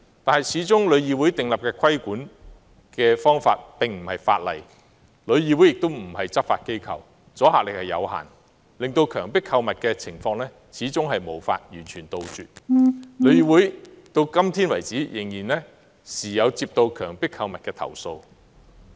可是，旅議會訂立的規管方法始終不是法例，而旅議會亦非執法機構，故此阻嚇力有限，令強迫購物的情況始終無法完全杜絕，旅議會至今仍不時接獲有關強迫購物的投訴。